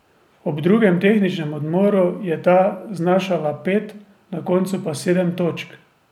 Ob drugem tehničnem odmoru je ta znašala pet, na koncu pa sedem točk.